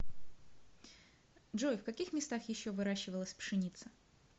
джой в каких местах еще выращивалась пшеница